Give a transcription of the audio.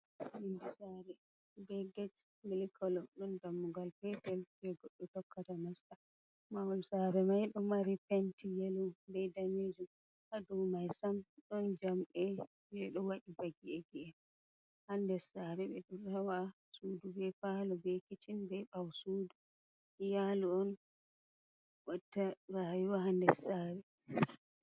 Yonde sare, be get mli kolo. Ɗon dammugal pepel je goddo tokkata nasta. Mahol sare mai do mari penti yelo be danejum. Haa dau mai sam don jamɗe je do wadi ba gi’egi’en ha nder sare be ɗo waɗa sudu, be faalo. be kicin be bawo sudu. Iyalu on watta rayuwa ha nder sare.